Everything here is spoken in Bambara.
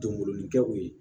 Donkolonin kɛ u ye